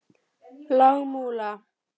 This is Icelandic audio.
Lágmúla